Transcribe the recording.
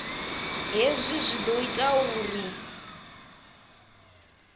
hezwi zwi ḓo ita uri